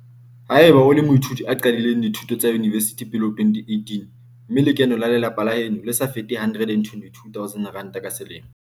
Ha eba o le moithuti a qadileng dithuto tsa yunivesithi pele ho 2018 mme lekeno la lelapa la heno le sa fete R122 000 ka selemo.